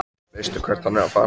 Veistu hvert hann er að fara?